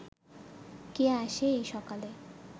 কে আসে এই সকালে